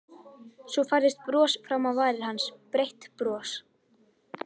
Svo færðist bros fram á varir hans, breitt bros.